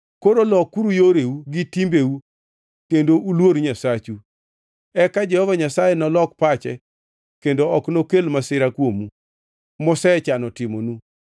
Koro lokuru yoreu gi timbeu kendo uluor Nyasachu. Eka Jehova Nyasaye nolok pache kendo ok nokel masira kuomu mosechano timonu.